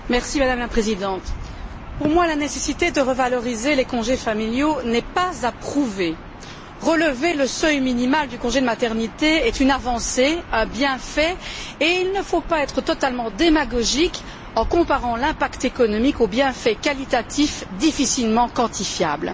Madame la Présidente, pour moi, la nécessité de revaloriser les congés familiaux n'est pas à prouver, relever le seuil minimal du congé de maternité est une avancée, un bienfait, et il ne faut pas être totalement démagogique en comparant l'impact économique au bienfait qualitatif difficilement quantifiable.